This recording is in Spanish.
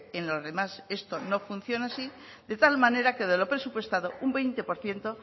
en los demás esto no funciona así de tal manera que de lo presupuestado un veinte por ciento